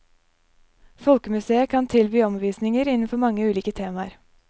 Folkemuseet kan tilby omvisninger innenfor mange ulike temaer.